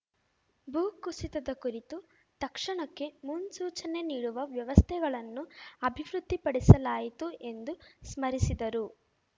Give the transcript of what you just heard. ಭೂಕುಸಿತದ ಕುರಿತು ತಕ್ಷಣಕ್ಕೆ ಮುನ್ಸೂಚನೆ ನೀಡುವ ವ್ಯವಸ್ಥೆಗಳನ್ನು ಅಭಿವೃದ್ಧಿಪಡಿಸಲಾಯಿತು ಎಂದು ಸ್ಮರಿಸಿದರು